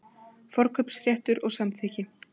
Forkaupsréttur og samþykki.